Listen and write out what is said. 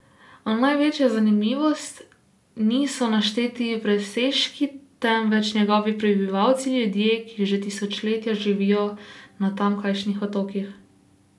A največja zanimivost niso našteti presežniki, temveč njegovi prebivalci, ljudje, ki že tisočletja živijo na tamkajšnjih otokih.